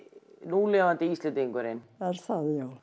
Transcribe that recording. núlifandi Íslendingurinn er það